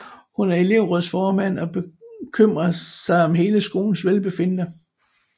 Hun er elevrådsformand og bekymrer sig om hele skolens velbefindende